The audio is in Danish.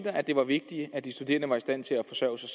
at det var vigtigt at de studerende var i stand til at forsørge sig